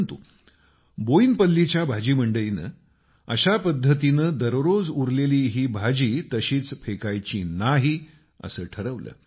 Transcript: परंतु बोयिनपल्लीच्या भाजी मंडईनं अशा पद्धतीनं दररोज उरलेली ही भाजी तशीच फेकायची नाही असं ठरवलं